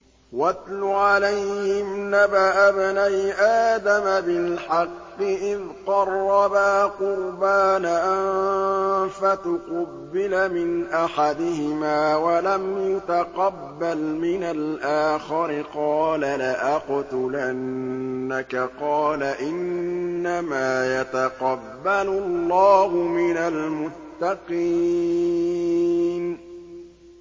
۞ وَاتْلُ عَلَيْهِمْ نَبَأَ ابْنَيْ آدَمَ بِالْحَقِّ إِذْ قَرَّبَا قُرْبَانًا فَتُقُبِّلَ مِنْ أَحَدِهِمَا وَلَمْ يُتَقَبَّلْ مِنَ الْآخَرِ قَالَ لَأَقْتُلَنَّكَ ۖ قَالَ إِنَّمَا يَتَقَبَّلُ اللَّهُ مِنَ الْمُتَّقِينَ